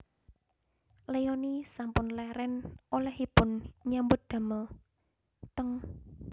Leony sampun leren olehipun nyambut damel teng